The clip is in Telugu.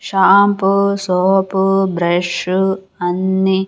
షాంపూ సోపు బ్రష్ అన్ని.